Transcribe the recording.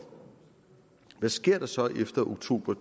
hvad sker der så efter oktober